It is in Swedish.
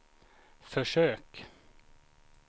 försök